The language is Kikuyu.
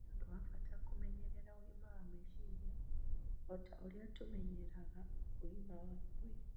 Nĩ ũndũ wa bata kũmenyerera ũgima wa meciria o ta ũrĩa tũmenyereraga ũgima wa mwĩri.